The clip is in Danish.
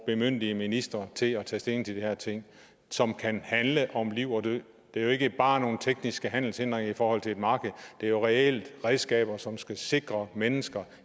bemyndige ministre til at tage stilling til de her ting som kan handle om liv og død det er jo ikke bare nogle tekniske handelshindringer i forhold til et marked det er jo reelt redskaber som skal sikre mennesker